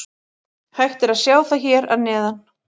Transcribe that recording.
Hægt er að sjá það hér að neðan.